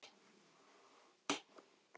Elsku Sveina.